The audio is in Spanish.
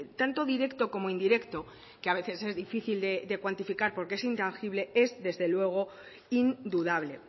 tanto directo como indirecto que a veces es difícil de cuantificar porque es intangible es desde luego indudable